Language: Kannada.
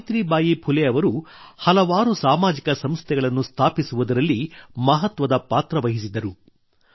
ಸಾವಿತ್ರಿಬಾಯಿ ಫುಲೆ ಅವರು ಹಲವಾರು ಸಾಮಾಜಿಕ ಸಂಸ್ಥೆಗಳನ್ನು ಸ್ಥಾಪಿಸುವುದರಲ್ಲಿ ಮಹತ್ವದ ಪಾತ್ರ ವಹಿಸಿದರು